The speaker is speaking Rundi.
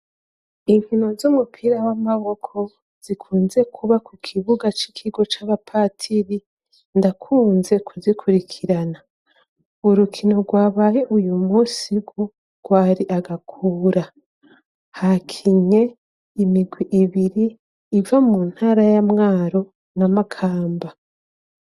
inkino z'umupira w'amaboko zikunze kuba ku kibuga c'ikigo c'abapatiri ndakunze kuzikurikirana urukino rwabaye uyu munsi rwari agakura hakinye imigwi ibiri iva mu ntara y'amwaro n'a makamba